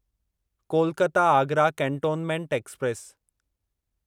Kolkata Agra cantonment express